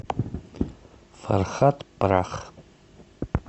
фархат прах